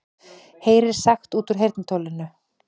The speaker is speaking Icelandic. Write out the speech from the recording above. Heyrir sagt út úr heyrnartólinu